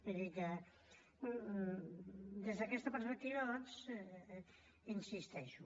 vull dir que des d’aquesta perspectiva doncs hi insisteixo